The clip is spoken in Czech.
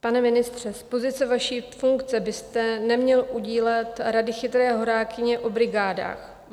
Pane ministře, z pozice vaší funkce byste neměl udílet rady chytré horákyně o brigádách.